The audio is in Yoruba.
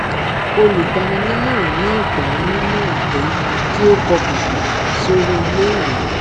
olùgbaninímòràn náà gbà á nímòràn pé kí ó pọkàn pò sórí ilé ìwé